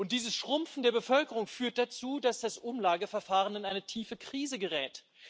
Diese schrumpfende Bevölkerung führt dazu, dass das Umlageverfahren in eine tiefe Krise gerät.